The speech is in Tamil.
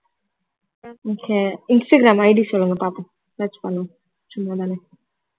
okay இன்ஸ்டாகிராம் ID சொல்லுங்க பார்ப்போம் search பண்ணுவோம் சும்மா தான